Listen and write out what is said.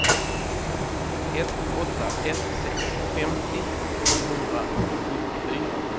ett åtta ett sex femtio sjuhundrasjuttiofyra